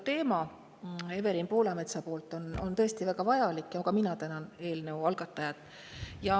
See Evelin Poolametsa tõstatatud teema on tõesti väga vajalik ja ka mina tänan eelnõu algatajat.